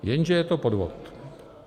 Jenže je to podvod.